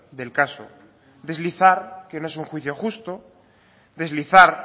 del caso deslizar que no es un juicio justo deslizar